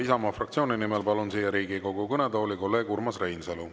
Isamaa fraktsiooni nimel kõnelema palun siia Riigikogu kõnetooli kolleeg Urmas Reinsalu.